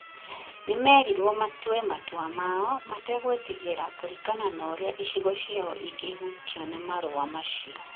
nĩ meerirwo matue matua mao mategwĩtigĩra kũringana na ũrĩa icigo ciao igũhutio nĩ marũa macio.